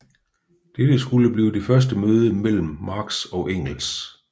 Dette skulle blive det første møde mellem Marx og Engels